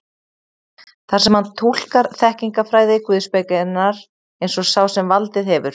þar sem hann túlkar þekkingarfræði guðspekinnar eins og sá sem valdið hefur.